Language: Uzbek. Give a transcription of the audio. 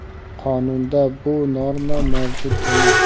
Qonunda bu norma mavjud emas.